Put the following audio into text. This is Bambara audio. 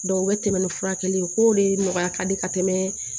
u bɛ tɛmɛ ni furakɛli ye u k'o de nɔgɔya ka di ka tɛmɛ